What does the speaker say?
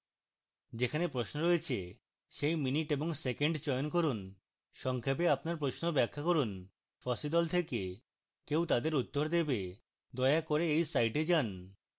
যেখানে প্রশ্ন রয়েছে সেই minute এবং second চয়ন করুন সংক্ষেপে আপনার প্রশ্ন ব্যাখ্যা করুন fossee দল থেকে কেউ তাদের উত্তর দেবে